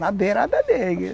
Na beirada dele.